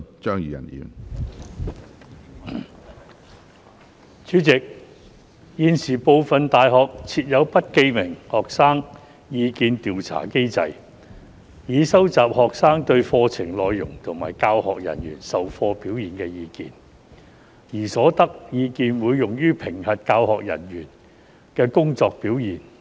主席，現時，部分大學設有不記名的學生意見調查機制，以收集學生對課程內容及教學人員授課表現的意見，而所得意見會用於評核教學人員的工作表現。